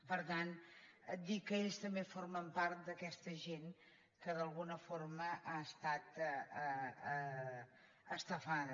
per tant dir que també ells formen part d’aquesta gent que d’alguna forma ha estat estafada